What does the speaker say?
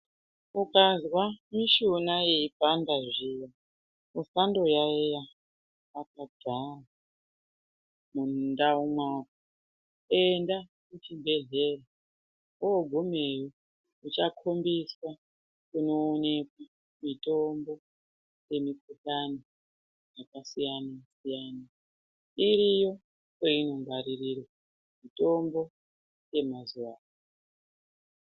Ukazwa mishuna yeipanda zviya, usandoyaiya wakagara mundau mwako . Enda kuzvibhedhleya woogumeyo uchakhombiswa kunoonekwa mitombo yemukhuhlani yakasiyana siyana . Iriyo kwainongwaririrwa mitombo yemazuwa ano.